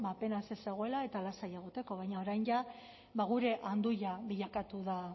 apenas ez zegoela eta lasai egoteko baina orain jada gure anduia bilakatu da